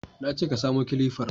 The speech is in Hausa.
Na ce ka samo kilifar